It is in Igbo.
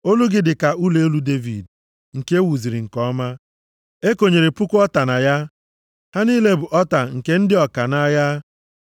Olu gị dị ka ụlọ elu Devid, nke e wuziri nke ọma. E konyere puku ọta na ya, ha niile bụ ọta nke ndị ọka nʼagha. + 4:4 \+xt Neh 3:19\+xt*